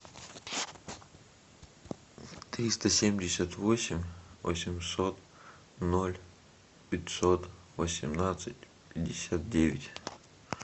триста семьдесят восемь восемьсот ноль пятьсот восемнадцать пятьдесят девять